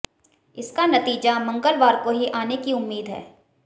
इसका नतीजा मंगलवार को ही आने की उम्मीद है